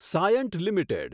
Cyient limited